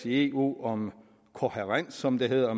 i eu om kohærens som det hedder